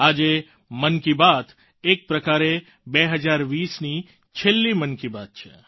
આજે મન કી બાત એક પ્રકારે 2020ની છેલ્લી મન કી બાત છે